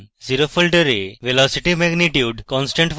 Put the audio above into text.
0 ফোল্ডারে velocity magnitude